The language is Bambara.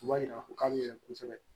U b'a yira k'a bɛ kosɛbɛ